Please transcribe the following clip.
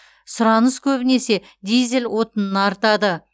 сұраныс көбінесе дизель отынына артады